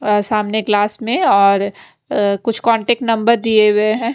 अ सामने क्लास में और अ कुछ कांटेक्ट नंबर दिए हुए हैं।